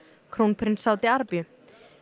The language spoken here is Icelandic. krónprins Sádi Arabíu